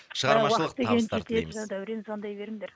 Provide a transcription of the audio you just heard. дәурен звондай беріңдер